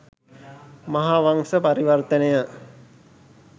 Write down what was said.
මහාවංස පරිවර්තනය